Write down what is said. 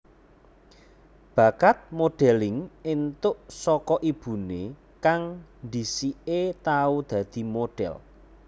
Bakat modelling entuk saka ibune kang dhisike tau dadi modhel